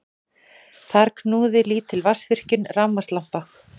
Þar knúði lítil vatnsvirkjun rafmagnslampa.